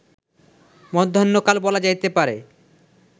মধ্যাহ্নকাল বলা যাইতে পারে